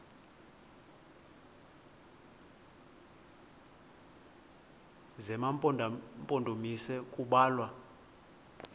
zema mpondomise kubalwa